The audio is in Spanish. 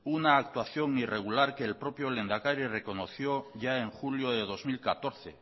una actuación irregular que el propio lehendakari reconoció ya en julio de dos mil catorce